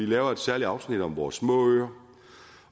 lavet et særligt afsnit om vores små øer